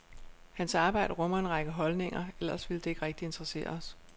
Hans arbejde rummer en række holdninger, ellers ville det ikke rigtig interessere os.